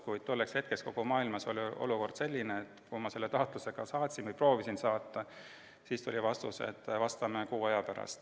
Kuid tolleks hetkeks oli kogu maailmas olukord selline, et kui ma taotluse saatsin või proovisin seda saata, siis tuli vastus, et vastame kuu aja pärast.